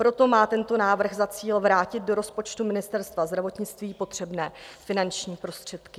Proto má tento návrh za cíl vrátit do rozpočtu Ministerstva zdravotnictví potřebné finanční prostředky.